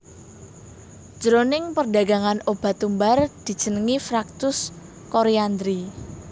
Jroning perdagangan obat tumbar dijenengi fructus coriandri